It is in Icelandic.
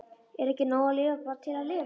Er ekki nóg að lifa bara til að lifa?